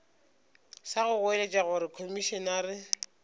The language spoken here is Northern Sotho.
sa go goeletša gore komišenare